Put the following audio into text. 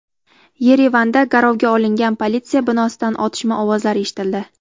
Yerevanda garovga olingan politsiya binosidan otishma ovozlari eshitildi.